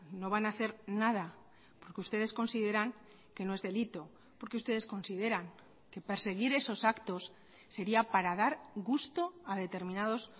no van a hacer nada porque ustedes consideran que no es delito porque ustedes consideran que perseguir esos actos sería para dar gusto a determinados